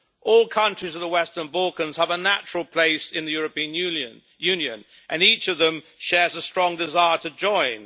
All countries of the Western Balkans have a natural place in the European Union and each of them shares a strong desire to join.